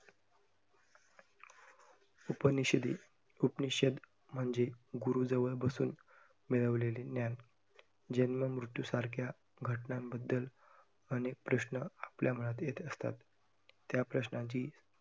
उपनिषदे, उपनिषद म्हणजे गुरुजवळ बसून मिळवलेले ज्ञान. जन्म, मृत्यूसारख्या घटनांबद्दल अनेक प्रश्न आपल्या मनात येत असतात, त्या प्रश्नांची